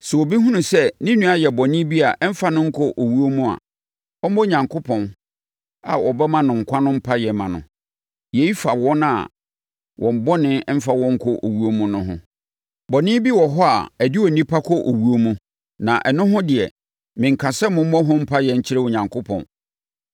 Sɛ obi hunu sɛ ne nua ayɛ bɔne bi a ɛmfa no nkɔ owuo mu a, ɔmmɔ Onyankopɔn a ɔbɛma no nkwa no mpaeɛ mma no. Yei fa wɔn a wɔn bɔne mfa wɔn nkɔ owuo mu no ho. Bɔne bi wɔ hɔ a ɛde onipa kɔ owuo mu na ɛno ho deɛ, menka sɛ mommɔ ho mpaeɛ nkyerɛ Onyankopɔn.